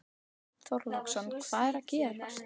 Björn Þorláksson: Hvað er að gerast?